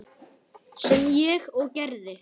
Sem ég og gerði.